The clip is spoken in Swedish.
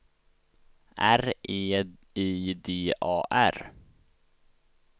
R E I D A R